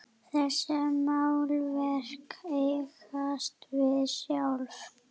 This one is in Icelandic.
Þessi málverk eigast við sjálf.